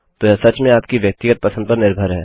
तो यह सच में आपकी व्यक्तिगत पसंद पर निर्भर है